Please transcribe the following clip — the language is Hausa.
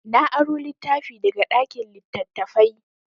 Na aro littafi daga ɗakin littattafai.